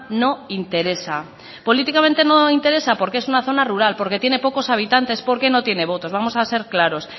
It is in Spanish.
no interesa políticamente no interesa porque es una zona rural porque tiene pocos habitantes porque no tiene votos vamos a ser claros